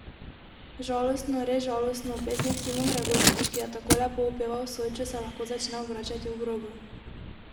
Žalostno, res žalostno, pesnik Simon Gregorčič, ki je tako lepo opeval Sočo se lahko začne obračati v grobu.